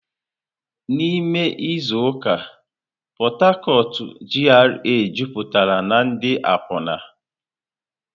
N'ime izu ụka, Port Harcourt GRA jupụtara na ndị akwụna.